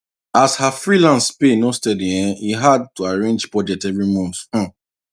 as her freelance pay no steady um e hard to arrange budget every month um